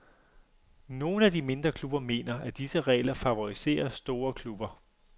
Nogle af de mindre klubber mener, at disse regler favoriserer store klubber.